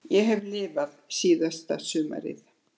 Ég hef lifað síðasta sumarið.